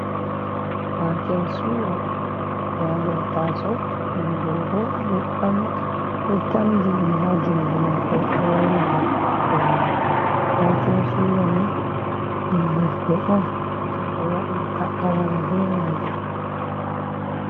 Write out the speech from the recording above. Waken suya ɓe ɗo waati ha nder taaso ɓingel bo ɗo ɓamti ɗo tamdi ɗum ha jungo mako ɗo waila nder taaso mai. waken suya ni ɗum yebbe on je ɓe waɗirta a wara be majum.